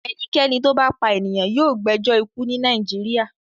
Ẹnikẹ́ni tó bá pa ènìyàn yóò gbẹjọ́ ikú ní Nàìjíríà.